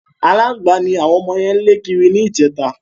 Aláǹgbá ni ạwọn ọmọ yẹn ń lẹ́ kiri níjẹta.